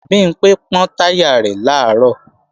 Bimpé pọ́n táyà rẹ̀ làárọ̀